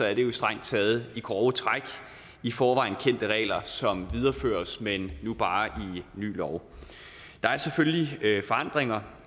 er det jo strengt taget i grove træk i forvejen kendte regler som videreføres men ny bare i ny lov der er selvfølgelig forandringer